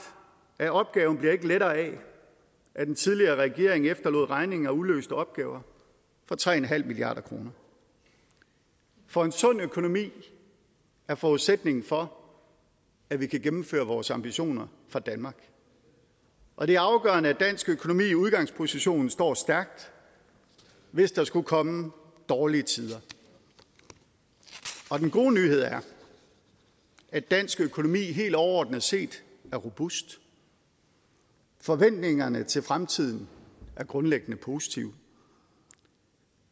at opgaven ikke bliver lettere af at den tidligere regering efterlod regninger og uløste opgaver for tre milliard kr for en sund økonomi er forudsætningen for at vi kan gennemføre vores ambitioner for danmark og det er afgørende at dansk økonomi i udgangspositionen står stærkt hvis der skulle komme dårlige tider den gode nyhed er at dansk økonomi helt overordnet set er robust forventningerne til fremtiden er grundlæggende positive